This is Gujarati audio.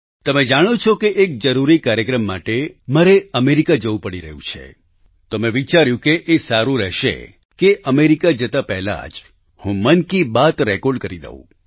તમે જાણો છો કે એક જરૂરી કાર્યક્રમ માટે મારે અમેરિકા જવું પડી રહ્યું છે તો મેં વિચાર્યું કે એ સારું રહેશે કે અમેરિકા જતાં પહેલાં જ હું મન કી બાત રેકોર્ડ કરી દઉં